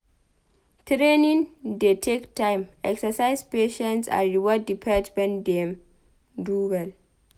Training dey take time exercise patience and reward di pet when dem do well